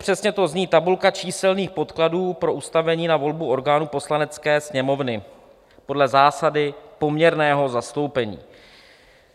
Přesně to zní "Tabulka číselných podkladů pro ustavení na volbu orgánů Poslanecké sněmovny podle zásady poměrného zastoupení".